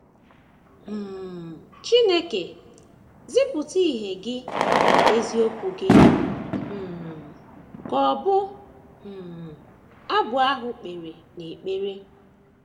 um “ Chineke,... zipụta ìhè Gị na eziokwu Gị, ” um ka ọbụ um abụ ahụ kpere n’ekpere.